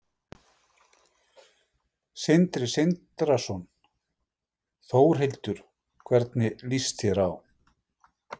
Sindri Sindrason: Þórhildur, hvernig lýst þér á?